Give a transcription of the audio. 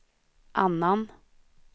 annan